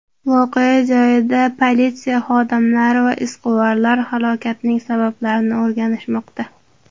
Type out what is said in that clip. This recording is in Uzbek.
Voqea joyida politsiya xodimlari va izquvarlar halokatning sabablarini o‘rganishmoqda.